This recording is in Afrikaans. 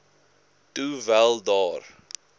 toe wel daar